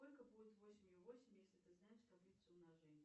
сколько будет восемью восемь если ты знаешь таблицу умножения